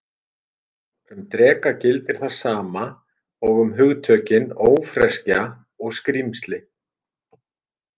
Um dreka gildir það sama og um hugtökin ófreskja og skrímsli.